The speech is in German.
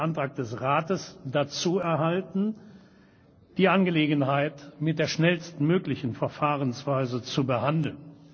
Ich habe dazu einen Antrag des Rates erhalten, die Angelegenheit mit der schnellstmöglichen Verfahrensweise zu behandeln.